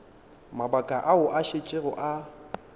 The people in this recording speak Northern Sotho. mabaka ao a šetšego a